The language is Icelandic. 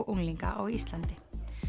unglinga á Íslandi